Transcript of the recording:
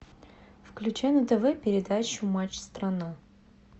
включай на тв передачу матч страна